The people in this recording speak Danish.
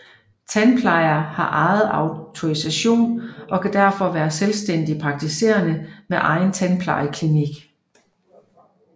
Tandplejere har egen autorisation og kan derfor være selvstændigt praktiserende med egen tandplejeklinik